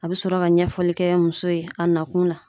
A bɛ sɔrɔ ka ɲɛfɔli kɛ muso ye a nakun na.